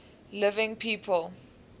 living people